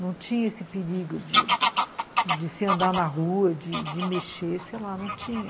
Não tinha esse perigo de se andar na rua, de de mexer, sei lá, não tinha.